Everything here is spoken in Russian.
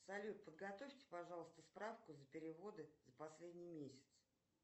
салют подготовьте пожалуйста справку за переводы за последний месяц